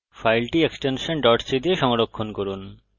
ফাইলটি extension c দিয়ে সংরক্ষণ করুন